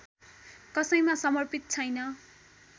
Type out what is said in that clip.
कसैमा समर्पित छैन